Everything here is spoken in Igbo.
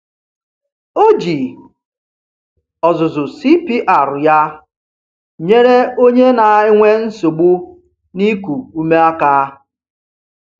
O ji ọzụzụ CPR ya nyere onye na-enwe nsogbu n'iku ume aka.